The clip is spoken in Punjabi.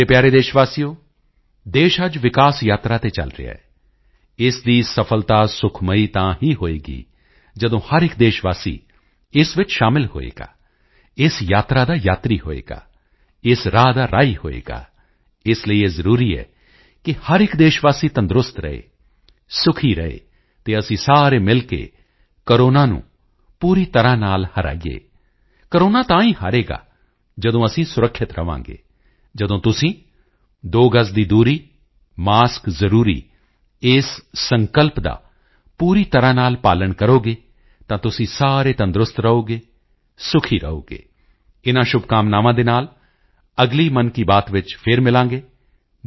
ਮੇਰੇ ਪਿਆਰੇ ਦੇਸ਼ਵਾਸੀਓ ਦੇਸ਼ ਅੱਜ ਵਿਕਾਸ ਯਾਤਰਾ ਤੇ ਚਲ ਰਿਹਾ ਹੈ ਇਸ ਦੀ ਸਫਲਤਾ ਸੁਖਮਈ ਤਾਂ ਹੀ ਹੋਵੇਗੀ ਜਦੋਂ ਹਰ ਇੱਕ ਦੇਸ਼ਵਾਸੀ ਇਸ ਵਿੱਚ ਸ਼ਾਮਲ ਹੋਵੇਗਾ ਇਸ ਯਾਤਰਾ ਦਾ ਯਾਤਰੀ ਹੋਵੇਗਾ ਇਸ ਰਾਹ ਦਾ ਰਾਹੀ ਹੋਵੇਗਾ ਇਸ ਲਈ ਇਹ ਜ਼ਰੂਰੀ ਹੈ ਕਿ ਹਰ ਇੱਕ ਦੇਸ਼ਵਾਸੀ ਤੰਦਰੁਸਤ ਰਹੇ ਸੁਖੀ ਰਹੇ ਤੇ ਅਸੀਂ ਸਾਰੇ ਮਿਲ ਕੇ ਕੋਰੋਨਾ ਨੂੰ ਪੂਰੀ ਤਰ੍ਹਾਂ ਨਾਲ ਹਰਾਈਏ ਕੋਰੋਨਾ ਤਾਂ ਹੀ ਹਾਰੇਗਾ ਜਦੋਂ ਅਸੀਂ ਸੁਰੱਖਿਅਤ ਰਹਾਂਗੇ ਜਦੋਂ ਤੁਸੀਂ ਦੋ ਗਜ਼ ਦੀ ਦੂਰੀ ਮਾਸਕ ਜ਼ਰੂਰੀ ਇਸ ਸੰਕਲਪ ਦਾ ਪੂਰੀ ਤਰ੍ਹਾਂ ਨਾਲ ਪਾਲਣ ਕਰੋਗੇ ਤਾਂ ਤੁਸੀਂ ਸਾਰੇ ਤੰਦਰੁਸਤ ਰਹੋਗੇ ਸੁਖੀ ਰਹੋਗੇ ਇਨ੍ਹਾਂ ਸ਼ੁਭਕਾਮਨਾਵਾਂ ਦੇ ਨਾਲ ਅਗਲੀ ਮਨ ਕੀ ਬਾਤ ਵਿੱਚ ਫਿਰ ਮਿਲਾਂਗੇ